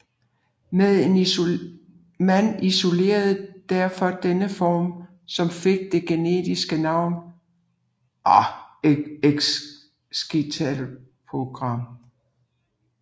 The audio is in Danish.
Man isolerede derfor denne form som fik det generiske navn escitalopram